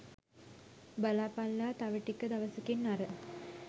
බලපල්ලා තව ටික දවසකින් අර